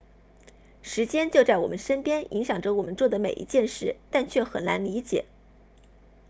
时间就在我们身边影响着我们做的每一件事但却很难理解